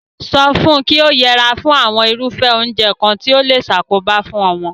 So fun ki o yera fún àwon irúfé oúnje kan ti o le sakoba fun omo